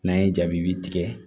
N'an ye jaabi bi tigɛ